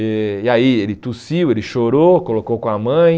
Eh e aí ele tossiu, ele chorou, colocou com a mãe.